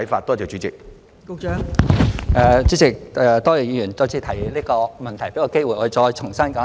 代理主席，多謝議員再次提出這個問題，給我機會再重新說一遍。